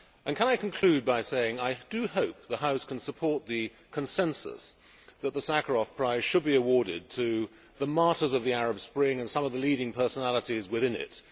Can I conclude by saying that I do hope the House can support the consensus that the Sakharov prize should be awarded to the martyrs of the Arab Spring and some of the leading personalities within it.